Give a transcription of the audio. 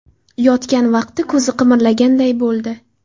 Yotgan vaqti ko‘zi qimirlaganday bo‘ldi.